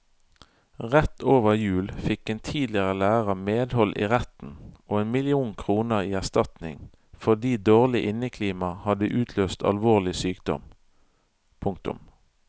Rett over jul fikk en tidligere lærer medhold i retten og en million kroner i erstatning fordi dårlig inneklima hadde utløst alvorlig sykdom. punktum